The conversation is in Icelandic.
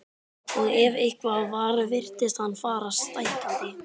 Og ef eitthvað var virtist hann fara stækkandi.